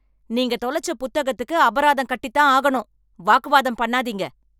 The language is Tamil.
நீங்க தொலச்ச புத்தகத்துக்கு அபராதம் கட்டிதான் ஆகனும். வாக்குவாதம் பண்ணாதீங்க.